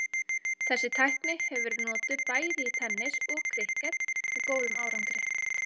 Þessi tækni hefur verið notuð í bæði tennis og krikket með góðum árangri.